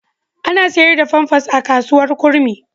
Ana sayar da famfas a kasuwar Kurmi.